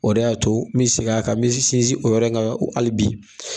O de y'a to mi segin a kan mi sinsin o yɔrɔ in kan hali bi.